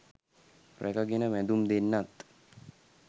රැක ගෙන වැදුම් දෙන්නත්